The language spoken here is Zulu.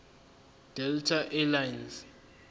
delta air lines